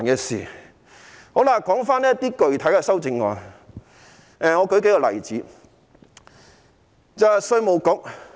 說回具體修正案，我列舉數個例子。